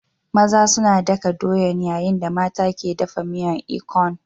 Maza suna ɗakadoyan yayin da mata ke dafa miyar ikong.